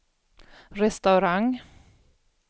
restaurang